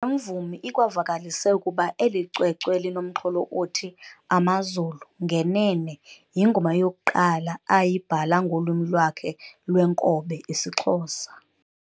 mvumi ikwavakalise ukuba eli cwecwe linomxholo othi "Amazulu" ngenene, yingoma yokuqala ayibhala ngolwimi lwakhe lwenkobe isiXhosa.